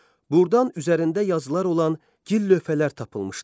Burdan üzərində yazılar olan gil lövhələr tapılmışdır.